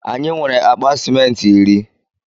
Anyi nwere akpa ciment iri